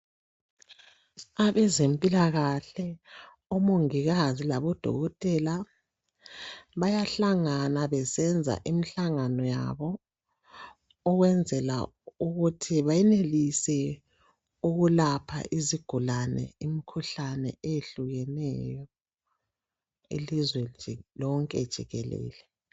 Abezempilakahle omongikazi labodokotela bayahlangana besenza imihlangano yabo ukwenzela ukuthi benelise ukulapha izigulani imikhuhlane etshiyeneyo elizweni lonke nje jikelele.